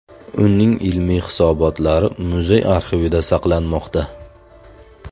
Uning ilmiy hisobotlari muzey arxivida saqlanmoqda.